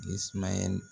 Ni sumaya nin